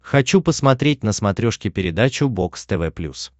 хочу посмотреть на смотрешке передачу бокс тв плюс